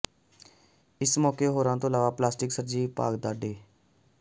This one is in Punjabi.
ਇਸ ਮੌਕੇ ਹੋਰਾਂ ਤੋਂ ਇਲਾਵਾ ਪਲਾਸਟਿਕ ਸਰਜਰੀ ਵਿਭਾਗ ਦੇ ਡਾ